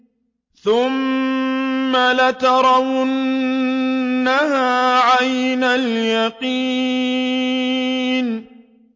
ثُمَّ لَتَرَوُنَّهَا عَيْنَ الْيَقِينِ